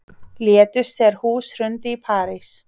Létust þegar hús hrundi í París